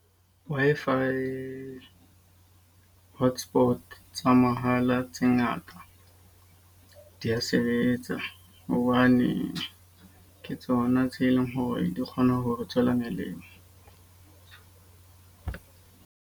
Wi-Fi hotspot tsa mahala tse ngata di a sebetsa. Hobane ke tsona tse leng hore di kgona ho re tswela molemo.